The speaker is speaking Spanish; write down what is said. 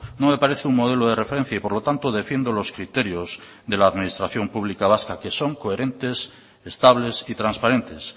no me parece un modelo de referencia y por lo tanto defiendo los criterios de la administración pública vasca que son coherentes estables y transparentes